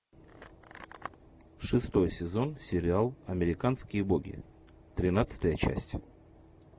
шестой сезон сериал американские боги тринадцатая часть